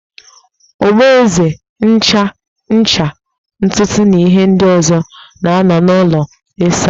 Ogboeze, ncha, ncha ntutu na ihe ndi ọzo na-anọ n'ụlọ ịsa ahụ